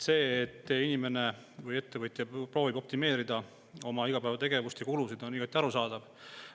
See, et inimene või ettevõtja proovib optimeerida oma igapäevategevuste kulusid, on igati arusaadav.